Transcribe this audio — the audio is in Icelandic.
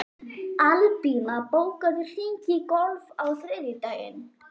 Albína, bókaðu hring í golf á þriðjudaginn.